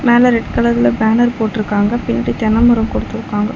மேல ரெட் கலர்ல பேனர் போட்ருக்காங்க பின்ட்டு தென்னமரோ கொடுத்துருக்காங்க.